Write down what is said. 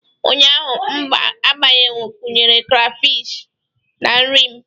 Ụnyaahụ m gbakwunyere crayfish na nri m